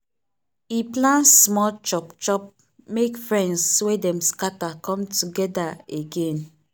e plan small chop chop make friends wey dem scatter come together again.